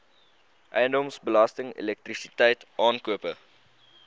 eiendomsbelasting elektrisiteit aankope